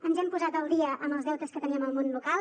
ens hem posat al dia amb els deutes que teníem amb el món local